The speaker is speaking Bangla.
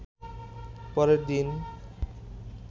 পরের দিন